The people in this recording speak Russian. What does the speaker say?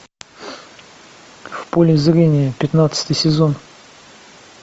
в поле зрения пятнадцатый сезон